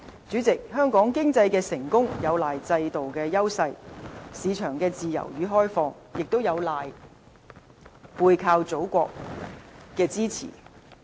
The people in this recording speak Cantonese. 主席，香港經濟成功有賴制度的優勢、市場的自由與開放，也有賴背靠祖國的支持。